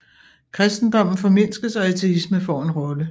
Kristendommen formindskes og ateisme får en rolle